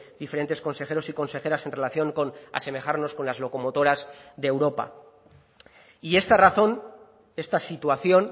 diferentes consejeros y consejeras en relación con asemejarnos con las locomotoras de europa y esta razón esta situación